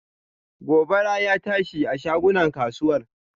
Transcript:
Gobara ya tashi a shagunan kasuwar.